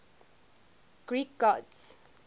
greek gods